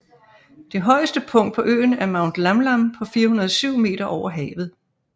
Det højeste punkt på øen er Mount Lamlam på 407 meter over havet